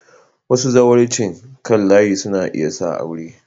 Wasu zawarcin kan layi suna iya sa aure.